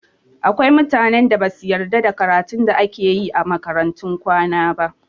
Akwai mutanen da basu yarda da karatun da ake yi a makarantun kwana ba